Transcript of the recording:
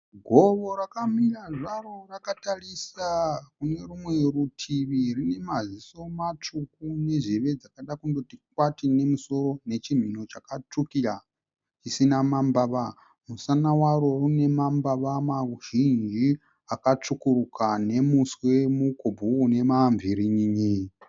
Gowo rakamira zvaro rakatarisa kune rumwe rutivi. Rine maziso matsvuku nezheve dzakada kundoti kwati memusoro nechimhino chakatsvukira dzisina mambava. Musana waro une mambava mazhinji akatsvukuruka nemuswe mukobvu une mamverenyenye.